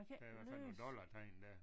Der er i hvert fald nogle dollartegn der